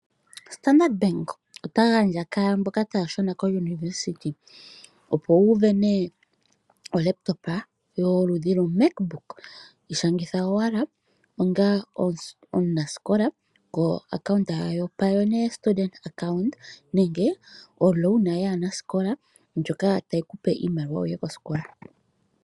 Standard Bank ota gandja kwaamboka taya shuna kiiputudhilo yopombanda. Opo wu vene olaptop yoludhi loMacBook ishangitha owala onga omunasikola koaccount yoPioneer Student Account nenge omukuli gwaanasikola ngoka tayi kupe iimaliwa wuye kosikola.